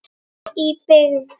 Í byggð